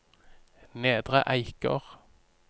Nedre Eiker